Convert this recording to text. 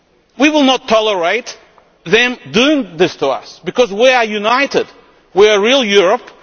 We will not tolerate them doing this to us, because we are united we are a real Europe.